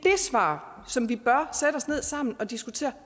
svar som vi bør sætte os ned sammen og diskutere